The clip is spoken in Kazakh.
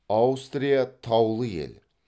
аустрия таулы ел